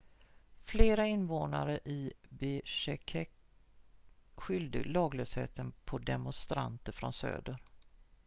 flera invånare i bishkek skyllde laglösheten på demonstranter från söder